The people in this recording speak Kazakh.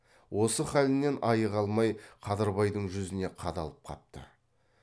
осы халінен айыға алмай қадырбайдың жүзіне қадалып қапты